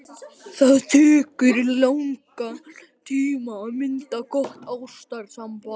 Það tekur langan tíma að mynda gott ástarsamband.